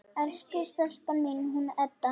Elsku stelpan mín, hún Edda!